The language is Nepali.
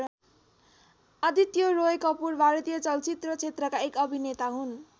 आदित्य रोय कपूर भारतीय चलचित्र क्षेत्रका एक अभिनेता हुन्।